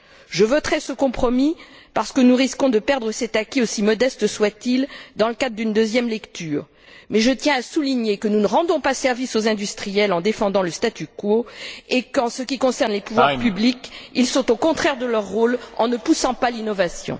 Je voterai ce compromis parce que nous risquons de perdre cet acquis, aussi modeste soit il, dans le cadre d'une deuxième lecture, mais je tiens à souligner que nous ne rendons pas service aux industriels en défendant le statu quo et qu'en ce qui concerne les pouvoirs publics, ils sont au contraire de leur rôle en ne poussant pas l'innovation.